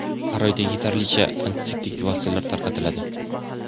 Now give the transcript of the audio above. har oyda yetarlicha antiseptik vositalar tarqatiladi.